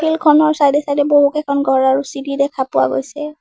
খনৰ চাইড এ চাইড এ বহুকেইখন ঘৰ আৰু চিৰি দেখা পোৱা গৈছে।